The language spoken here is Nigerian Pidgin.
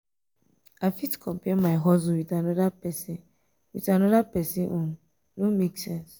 i fit compare my hustle with anoda pesin with anoda pesin own no make sense.